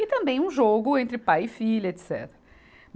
E também um jogo entre pai e filha, etecetera.